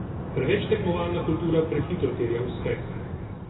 Preveč tekmovalna kultura prehitro terja uspeh.